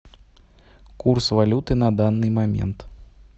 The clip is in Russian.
курс валюты на данный момент